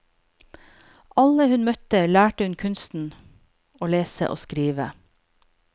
Alle hun møtte lærte hun kunsten å lese og skrive.